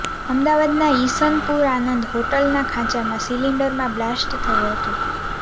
અમદાવાદના ઇસનપુર આનંદ હોટેલના ખાંચામાં સિલિન્ડરમાં બ્લાસ્ટ થયો હતો